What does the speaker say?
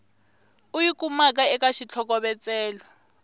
u yi kumaka eka xitlhokovetselo